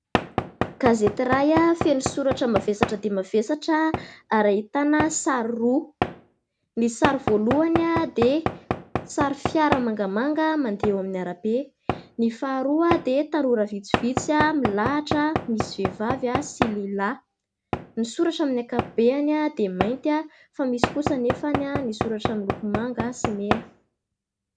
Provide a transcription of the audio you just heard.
Gazety iray feno soratra mavesatra dia mavesatra ary ahitana sary roa. Ny sary voalohany dia sary fiara mangamanga mandeha eo amin'ny arabe. Ny faharoa dia tanora vitsivitsy milahatra misy vehivavy sy lehilahy. Ny soratra amin'ny ankapobeny dia mainty fa misy kosa anefa ny misoratra miloko manga sy mena.